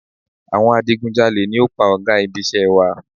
Awọn adigunjalè ni o pa ò̩gá ibisé̩ wa